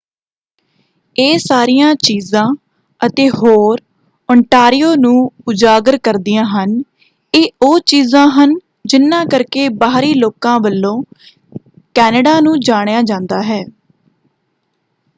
ਇਹ ਸਾਰੀਆਂ ਚੀਜਾਂ ਅਤੇ ਹੋਰ ਓਟਾਂਰੀਓ ਨੂੰ ਉਜਾਗਰ ਕਰਦੀਆਂ ਹਨ ਇਹ ਉਹੀ ਚੀਜਾਂ ਹਨ ਜਿਨ੍ਹਾਂ ਕਰਕੇ ਬਾਹਰੀ ਲੋਕਾਂ ਵੱਲੋਂ ਕੈਨੇਡਾ ਨੂੰ ਜਾਣਿਆ ਜਾਂਦਾ ਹੈ।